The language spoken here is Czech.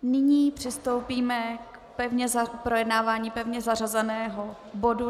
Nyní přistoupíme k projednávání pevně zařazeného bodu